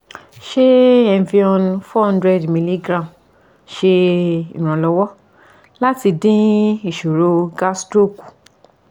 se evion 400mg se iranlowo lati din isoro gastro ku